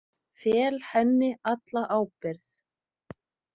Fel henni alla ábyrgð.